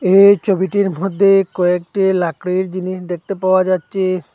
এই ছবিটির মধ্যে কয়েকটি লাকড়ির জিনিস দেখতে পাওয়া যাচ্ছে।